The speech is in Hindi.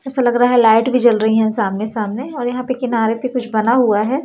ऐसा लग रहा है लाइट भी जल रही हैं सामने सामने और यहां पे किनारे पे कुछ बना हुआ है।